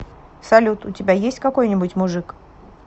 салют у тебя есть какой нибудь мужик